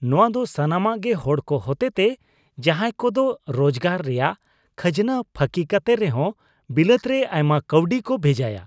ᱱᱚᱣᱟ ᱫᱚ ᱥᱟᱱᱟᱢᱟᱜ ᱜᱮ ᱦᱚᱲ ᱠᱚ ᱦᱚᱛᱮᱛᱮ ᱡᱟᱦᱟᱸᱭ ᱠᱚᱫᱚ ᱨᱚᱡᱽᱜᱟᱨ ᱨᱮᱭᱟᱜ ᱠᱷᱟᱡᱱᱟ ᱯᱷᱟᱹᱠᱤ ᱠᱟᱛᱮ ᱨᱮᱦᱚ ᱵᱤᱞᱟᱹᱛ ᱨᱮ ᱟᱭᱢᱟ ᱠᱟᱹᱣᱰᱤ ᱠᱚ ᱵᱷᱮᱡᱟᱭᱟ ᱾